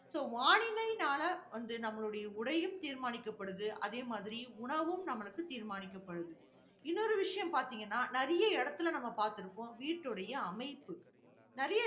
so வானிலைனால வந்து நம்முடைய உடையும் தீர்மானிக்கப்படுது. அதே மாதிரி, உணவும் நம்மளுக்கு தீர்மானிக்கபடுது. இன்னொரு விஷயம் பார்த்தீங்கன்னா நிறைய இடத்துல நம்ம பார்த்திருப்போம் வீட்டுடைய அமைப்பு